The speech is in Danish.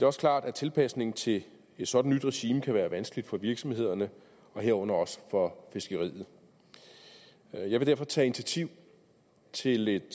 også klart at tilpasningen til et sådant nyt regime kan være vanskelig for virksomhederne herunder også for fiskeriet jeg vil derfor tage initiativ til et